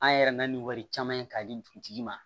An yɛrɛ nana ni wari caman ye k'a di dugutigi ma